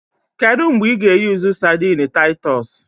Kedu mgbe ị ga-eyusu sadini Taitos?